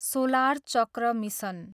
solar चक्र mission